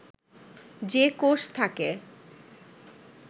যে কোষ থাকে